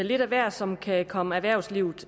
lidt af hvert som kan komme erhvervslivet